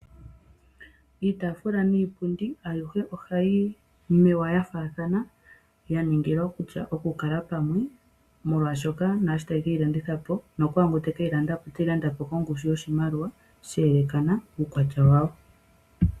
Iitaafula niipundi ayihe ohayi mewa ya faathana ya ningila kutya oku kala pamwe molwaashoka naasho taye keyi landithapo nokwaangoka teke yi landapo oteyi landapo kongushu yoshimaliwa she elekana kuukwatya wawo.